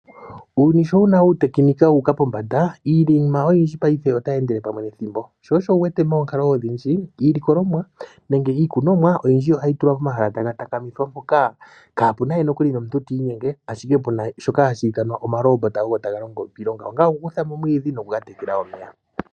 Uuyuni sho wuna uutekenika wu uka pombanda, iinima oyindji paife otayi endele pamwe nethimbo. Sho osho wu wete moonkalo odhindji iilikolomwa nenge iikunomwa oyindji ohayi tulwa pomahala taga takamithwa , mpoka kaa puna we nokuli nomuntu ti inyenge ashike puna shoka hashi ithanwa omaloombota ogo taga longo iilonga, ongele oku kutha mo omwiidhi, nokuga tekela omeya.